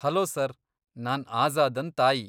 Hello sir, ನಾನ್ ಆಝಾದನ್ ತಾಯಿ.